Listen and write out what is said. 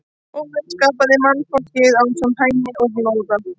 Óðinn skapaði mannfólkið ásamt Hæni og Lóða.